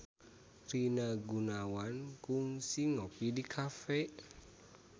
Rina Gunawan kungsi ngopi di cafe